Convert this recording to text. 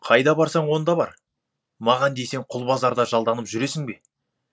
қайда барсаң онда бар маған десең құлбазарда жалданып жүресің бе